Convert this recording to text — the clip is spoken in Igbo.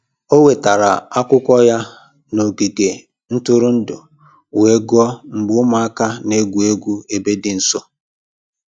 Ọ wetara akwụkwọ ya n'ogige ntụrụndụ wee gụọ mgbe ụmụaka na-egwu egwu ebe dị nso